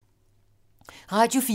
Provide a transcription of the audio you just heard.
Radio 4